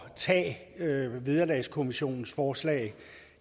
tage vederlagskommissionens forslag